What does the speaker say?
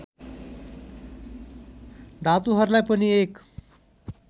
धातुहरूलाई पनि एक